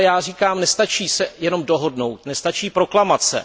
Ale já říkám, nestačí se jenom dohodnout, nestačí proklamace.